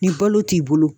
Ni balo t'i bolo